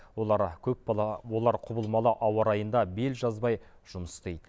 олар көп бала олар құбылмалы ауа райында бел жазбай жұмыс істейді